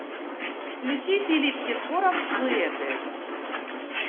включи филипп киркоров дуэты